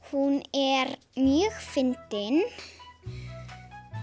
hún er mjög fyndin